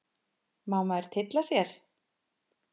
Má maður tylla sér?